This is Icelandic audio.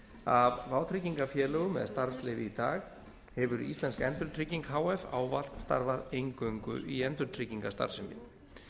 af vátryggingafélögum með starfsleyfi í dag hefur íslensk endurtrygging h f ávallt starfað eingöngu í endurtryggingastarfsemi